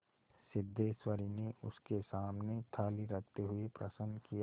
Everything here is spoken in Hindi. सिद्धेश्वरी ने उसके सामने थाली रखते हुए प्रश्न किया